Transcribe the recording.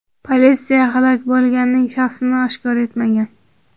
Politsiya halok bo‘lganning shaxsini oshkor etmagan.